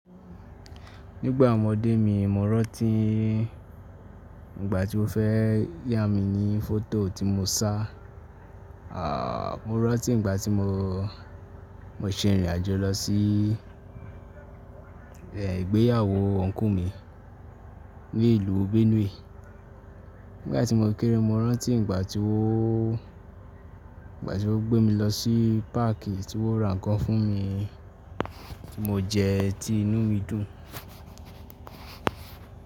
Nígbà ọmọdé mi mo rántí Ìgbà tí ó fẹ́ yá mi ní fótò tí mo sá, à mo rántí ìgbà tí mo, mo ṣe ìrìn àjò lọ sí i ìgbéyàwó uncle mi ní ìlú Benue. Nígbà tí mo kéré mo rántí ìgbà tí óò, ìgbà tí ó gbé mi lọ sí páàkì tí wọ́n ra nǹkan fún mi, tí mo jẹ tí inú mi dùn.